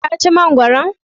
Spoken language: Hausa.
Ka ci mangwaron?